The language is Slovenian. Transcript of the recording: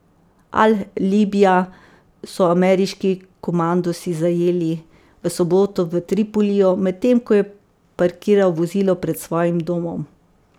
Al Libija so ameriški komandosi zajeli v soboto v Tripoliju, medtem ko je parkiral vozilo pred svojim domom.